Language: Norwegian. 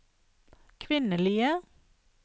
kvinnelige